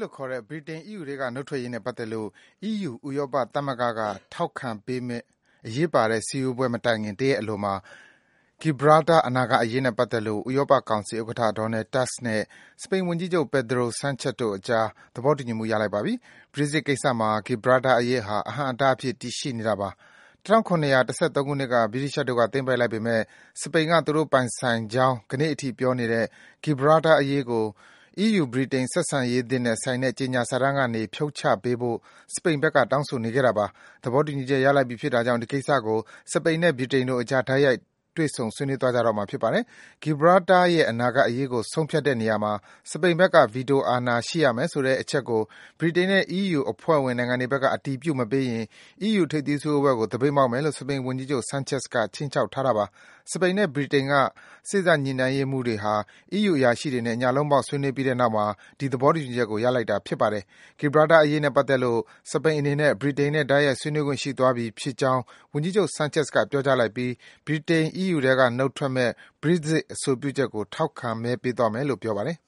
လို့ခေါ်တဲ့ ဗြိတိန် အီးယူထဲက နုတ်ထွက်ရေးနဲ့ပတ်သက်လို့ အီးယူ ဥရောပသမဂ္ဂက ထောက် ခံပေးမယ့် အရေးပါတဲ့စည်းဝေးပွဲမတိုင်ခင် တရက်အလိုမှာ Gilbraltar အနာဂတ် အရေးနဲ့ပတ်သက်လို့ ဥရောပကောင်စီ ဥက္ကဋ္ဌ Donald Tusk နဲ့ စပိန်ဝန်ကြီးချုပ် Pedro Sanchez တို့အကြား သဘောတူညီမှု ရလိုက်ပါပြီ။ Brexit ကိစ္စမှာ Gilbraltar အရေးဟာ အဟန့်အတားအဖြစ် တည်ရှိနေတာပါ။ ၁၇၁၃ ခုနှစ်က ဗြိတိသျှတို့က သိမ်းပိုက်လိုက်ပေမယ့် စပိန်နိုင်ငံက သူတို့ပိုင်ဆိုင်ကြောင်း ကနေ့အထိ ပြောနေတဲ့ Gilbraltar အရေးကို အီးယူ-ဗြိတိန် ဆက်ဆံရေးသစ်နဲ့ဆိုင်တဲ့ ကြေညာစာတမ်းကနေ ဖြုတ်ချပေးဖို့ စပိန်နိုင်ငံဘက်က တောင်းဆိုနေခဲ့တာပါ။ သဘောတူညီချက် ရလိုက်ပြီဖြစ်တာကြောင့် ဒီကိစ္စကို စပိန်နဲ့ ဗြိတိန်တို့အကြား တိုက်ရိုက် တွေ့ဆုံ ဆွေးနွေးသွားကြတော့မှာ ဖြစ်ပါတယ်။ Gilbraltar ရဲ့ အနာဂတ်အရေးကို ဆုံးဖြတ်တဲ့နေရာမှာ စပိန်ဘက်က ဗီတိုအာဏာရှိရမယ်ဆိုတဲ့ အချက်ကို ဗြိတိန်နဲ့ အီးယူအဖွဲ့ဝင်နိုင်ငံတွေဘက်က အတည်ပြုမပေးရင် အီးယူထိပ်သီးစည်းဝေးပွဲကို သပိတ်မှောက်မယ်လို့ စပိန် ဝန်ကြီးချုပ် Sanchez က ခြိမ်းခြောက်ထားတာပါ။ စပိန်နဲ့ ဗြိတိန်က စေ့စပ်ညှိနှိုင်းရေးမှူးတွေ အီးယူအရာရှိတွေနဲ့ ညလုံးပေါက် ဆွေးနွေးပြီးတဲ့နောက်မှာ ဒီ သဘောတူညီချက်ကို ရလိုက်နိုင်တာ ဖြစ်ပါတယ်။ Gilbraltar အရေးနဲ့ပတ်သက်လို့ စပိန်အနေနဲ့ ဗြိတိန်နဲ့ တိုက်ရိုက် ဆွေးနွေးခွင့် ရှိသွားပြီဖြစ်ကြောင်း ဝန်ကြီးချုပ် Sanchez က ပြောကြားလိုက်ပြီး ဗြိတိန် အီးယူထဲက နုတ်ထွက်မယ့် Brexit အဆိုပြုချက်ကို ထောက်ခံမဲ ပေးသွားမယ်လို့ ပြောပါတယ်